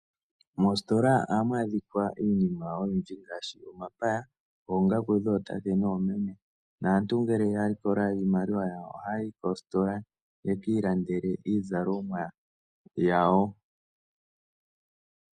Moositola ohamu adhika iinima oyindji ngaashi omapaya, oongaku dhootate noomeme, naantu ngele ya likola iimaliwa yawo, ohaya yi koositola yeki ilandele iizalomwa yawo.